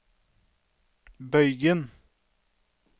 bøygen